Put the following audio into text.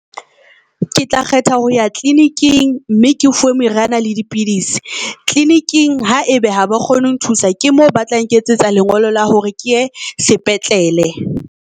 Ke tla kgetha ho ya clinic-eng mme ke fuwe meriana le dipidisi. Clinic-eng ha ebe ha ba kgone ho nthusa ke moo ba tla nketsetsa lengolo la hore ke ye sepetlele.